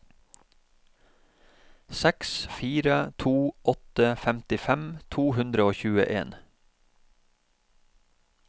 seks fire to åtte femtifem to hundre og tjueen